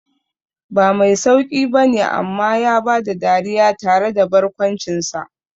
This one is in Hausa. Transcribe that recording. Ba mai sauqi bane amma ya bada dariya tare da barkwancinsa.